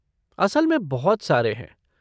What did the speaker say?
असल में बहुत सारे हैं।